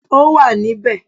Ó wà níbẹ̀.